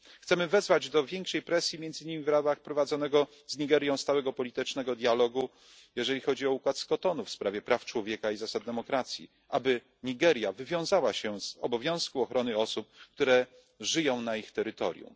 Chcemy wezwać do większej presji między innymi w ramach prowadzonego z Nigerią stałego politycznego dialogu jeżeli chodzi o układ z Kotonu w sprawie praw człowieka i zasad demokracji, aby Nigeria wywiązała się z obowiązku ochrony osób, które żyją na jej terytorium.